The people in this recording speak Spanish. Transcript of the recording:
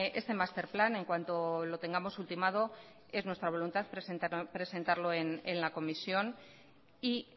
este master plan en cuanto lo tengamos ultimado es nuestra voluntad presentarlo en la comisión y